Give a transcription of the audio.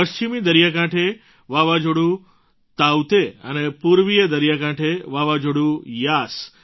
પશ્ચિમી દરિયાકાંઠે વાવાઝોડું તાઉતે અને પૂર્વીય દરિયાકાંઠે વાવાઝોડું યાસ